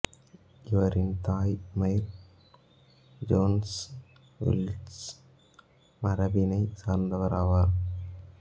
இவரின் தாய் Mair Jones Welsh மரபினைச் சார்ந்தவர் ஆவார்